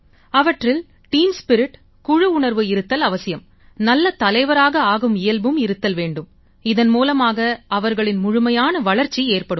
அவற்றில் team spirit குழு உணர்வு இருத்தல் அவசியம் நல்ல தலைவராக ஆகும் இயல்பும் இருத்தல் வேண்டும் இதன் மூலமாக அவர்களின் முழுமையான வளர்ச்சி ஏற்படும்